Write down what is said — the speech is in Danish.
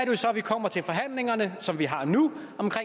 jo så vi kommer til forhandlingerne som vi har nu om